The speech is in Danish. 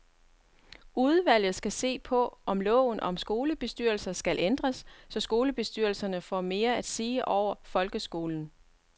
Udvalget skal se på, om loven om skolebestyrelser skal ændres, så bestyrelserne får mere at sige over folkeskolen.